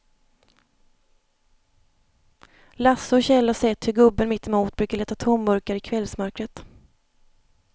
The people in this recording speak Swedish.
Lasse och Kjell har sett hur gubben mittemot brukar leta tomburkar i kvällsmörkret.